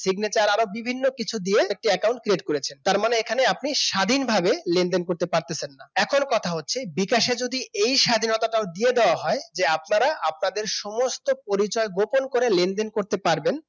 signature আরো বিভিন্ন কিছু দিয়ে একটি account create করেছেন তার মানে এখানে আপনি স্বাধীনভাবে লেনদেন করতে পারতেছেন না এখন কথা হচ্ছে বিকাশে যদি এই স্বাধীনতাটাও দিয়ে দেওয়া হয় যে আপনারা আপনাদের সমস্ত পরিচয় গোপন করে লেনদেন করতে পারবেন